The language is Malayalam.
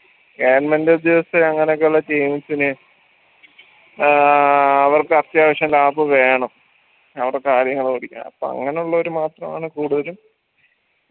government ഉദ്യോഗസ്ഥര് അങ്ങനൊക്കെയുള്ള teams ന് ആഹ് അവർക്ക് അത്യാവശ്യം lap വേണം അവരുടെ കാര്യങ്ങൾ അപ്പൊ അങ്ങനുള്ളവര് മാത്രം അങ്ങന കൂടുതലും